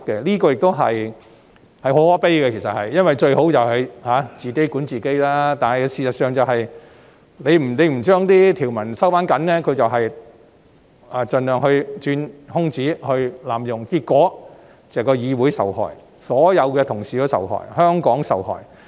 這句說話其實很可悲，因為最好是議員自己管自己，但事實上，如不收緊條文，他們便盡量鑽空子和濫用有關規則，結果是議會受害、所有同事受害、香港受害。